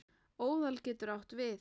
Óðal getur átt við